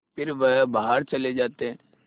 फिर वह बाहर चले जाते